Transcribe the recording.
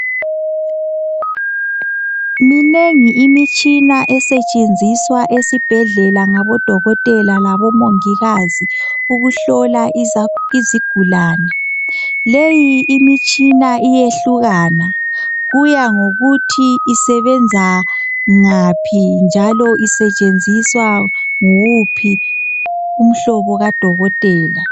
Minengi imitshina esetshenziswa esibhedlela ngabodokotela labomongikazi ukuhlola izigulane leyi imitshina iyehlukana kuya ngokuthi isebenza ngaphi njalo isetshenziswa nguwuphi umhlobo kadokotela.